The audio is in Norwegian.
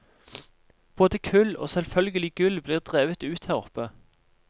Både kull og selvførgelig gull blir drevet ut her oppe.